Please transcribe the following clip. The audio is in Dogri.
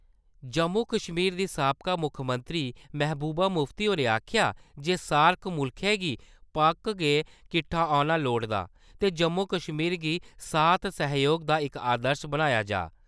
जम्मू-कश्मीर दी साबका मुक्खमंत्री महबूबा मुफ्ती होरें आक्खेआ जे 'सार्क' मुल्खैं गी पक्क गै किट्ठा औना लोड़दा ते जम्मू-कश्मीर गी साथ-सैह्‌योग दा इक आदर्श बनाया जा।